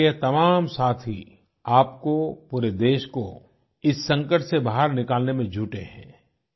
हमारे ये तमाम साथी आपको पूरे देश को इस संकट से बाहर निकालने में जुटे हैं